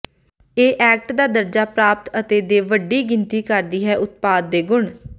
ਇਹ ਐਕਟ ਦਾ ਦਰਜਾ ਪ੍ਰਾਪਤ ਅਤੇ ਦੇ ਵੱਡੀ ਗਿਣਤੀ ਕਰਦੀ ਹੈ ਉਤਪਾਦ ਦੇ ਗੁਣ